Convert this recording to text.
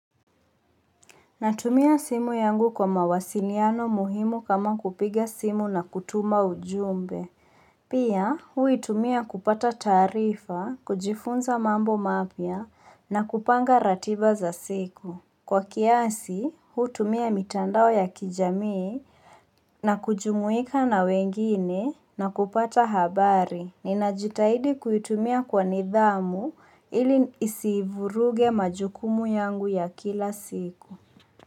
Natumia simu yangu kwa mawasiliano muhimu kama kupiga simu na kutuma ujumbe. Pia huu itumia kupata taarifa, kujifunza mambo mapya na kupanga ratiba za siku. Kwa kiasi, hutumia mitandao ya kijamii na kujumuika na wengine na kupata habari. Ninajitahidi kuitumia kwa nidhamu ili isivuruge majukumu yangu ya kila siku.